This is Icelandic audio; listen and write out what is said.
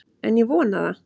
En ég vona það.